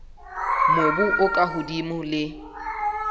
mobu o ka hodimo le